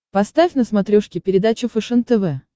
поставь на смотрешке передачу фэшен тв